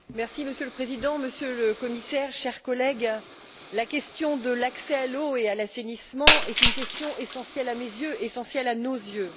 Monsieur le Président, Monsieur le Commissaire, chers collègues, la question de l'accès à l'eau et à l'assainissement est une question essentielle à mes yeux, essentielle à nos yeux.